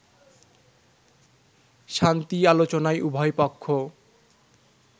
শান্তি আলোচনায় উভয় পক্ষ